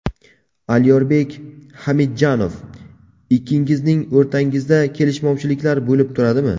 Alyorbek Hamidjanov Ikkingizning o‘rtangizda kelishmovchiliklar bo‘lib turadimi?